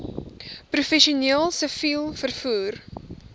professioneel siviel vervoer